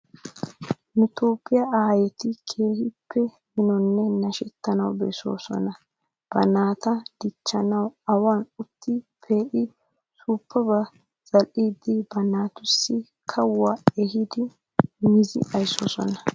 Nu Toophphiyaa aayeti keehippe minonne nashettanawu bessoosona. Ba naata dichchanawu awan utti pee"i suuppabata zal"iidi ba naatussi kawuwa ehidi mizi ayssoosona.